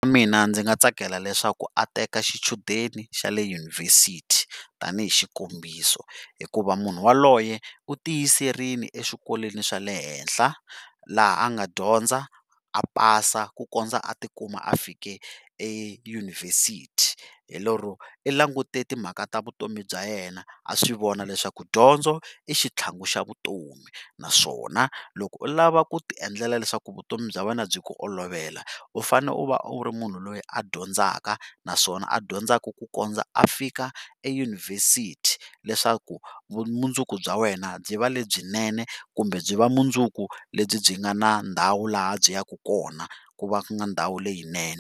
Mina ndzi nga tsakela leswaku a teka xichudeni xa le yunivhesiti tanihi xikombiso hikuva munhu yaloye u tiyiserile exikolweni xa le henhla laha a nga dyondza a pasa ku kondza a ti kuma a fika eyunuvhesiti hi lero i langute timhaka ta vutomi bya yena a swi vona leswaku dyondzo i xitlhangu xa vutomi naswona loko u lava ku ti endlela leswaku vutomi bya wena byi ku olovela u fane u va u ri munhu loyi a dyondzaka naswona a dyondzaka ku kondza a fika eyunivhesiti leswaku vumundzuku bya wena byi va lebyinene kumbe byi va mundzuku lebyi byi nga na ndhawu laha byi yaka kona ku va ndhawu leyinene.